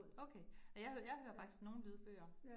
Okay, og jeg hører jeg hører faktisk nogle lydbøger